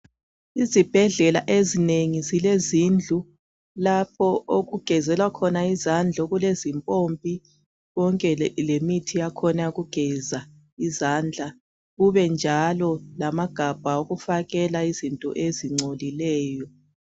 Izibhedlela ezinengi ziiezindlu lapho okugezelwa khona izandla. Okulezimpompi. Konke lemithi yakhona eyokugeza izandla. Kube njalo lamagabha okufakela izinto ezingcolileyo.,